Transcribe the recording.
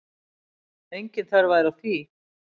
Engin þörf væri á því.